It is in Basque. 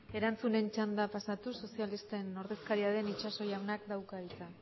erantzunen txandara pasatuz sozialisten ordezkaria den itxaso jaunak dauka hitza